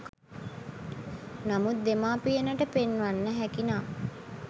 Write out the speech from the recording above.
නමුත් දෙමව්පියනට පෙන්වන්න හැකි නම්